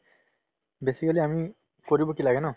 basically আমি কৰিব কি লাগে ন